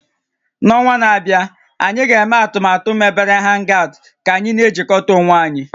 N'ọnwa na-abịa, anyị ga-eme atụmatụ a mebere hangout ka anyị na-ejikọta onwe anyị